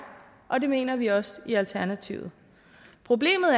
og det mener vi også i alternativet problemet